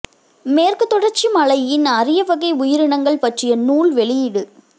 மேற்கு தொடர்ச்சி மலையின் அரிய வகை உயிரினங்கள் பற்றிய நூல் வெளியீடு